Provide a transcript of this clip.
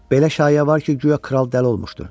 Belə şayə var ki, guya kral dəli olmuşdu.